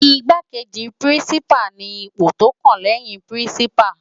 Igbákéji Pirinsipá ni ipó tó kán lèyin Pirinsipá